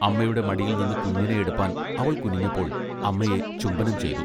അമ്മയുടെ മടിയിൽനിന്ന് കുഞ്ഞിനെ എടുപ്പാൻ അവൾ കുനിഞ്ഞപ്പോൾ അമ്മയെ ചുംബനം ചെയ്തു.